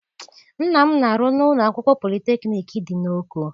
Nna m na-arụ na ụlọ akwụkwọ politekniik dị n'Oko.